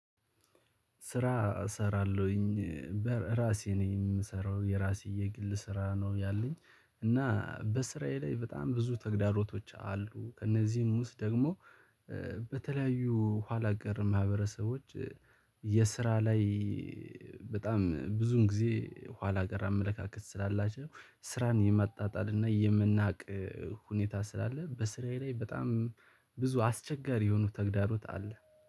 ስራ እሰራለሁኝ በራሴ ነው የምሰራው የራሴ የግል ስራ ነው ያለኝ። እና በስራዬ ላይ በጣም ብዙ ተግዳሮቶች አሉ ከእነዚህ ውስጥ ደግሞ በተለያዩ ኋላ ቀር ማህበረሰቦች። የስራ ላይ በጣም ብዙን ጊዜ ኋላ ቀር አመለካከት ስላላቸው ስራን የማጣጣል እና የመናቅ ሁኔታ ስላለ በስራዬ ላይ በጣም ብዙ አስቸጋሪ የሆኑ ተግዳሮት አለ